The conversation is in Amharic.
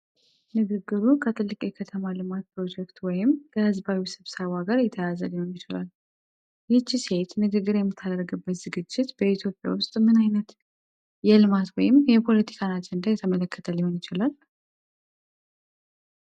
ንግግሩ ከትልቅ የከተማ ልማት ፕሮጀክት ወይም ከሕዝባዊ ስብሰባ ጋር የተያያዘ ሊሆን ይችላል። ይህች ሴት ንግግር የምታደርግበት ዝግጅት በኢትዮጵያ ውስጥ ምን ዓይነት የልማት ወይም የፖለቲካ አጀንዳን የተመለከተ ሊሆን ይችላል?